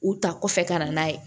U ta kɔfɛ ka na n'a ye